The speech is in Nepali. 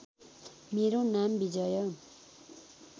मेरो नाम विजय